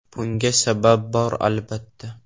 Bunga sabab bor albatta.